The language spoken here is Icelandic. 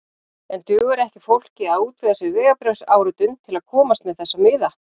En dugar ekki fólki að útvega sér vegabréfsáritun til að komast með þessa miða?